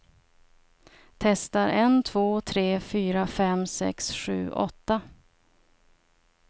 Testar en två tre fyra fem sex sju åtta.